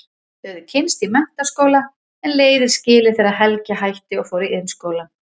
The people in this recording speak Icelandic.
Þau höfðu kynnst í menntaskóla en leiðir skilið þegar Helgi hætti og fór í Iðnskólann.